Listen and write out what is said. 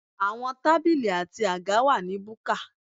Àwọn tábìlì àti àga wà ní búkà.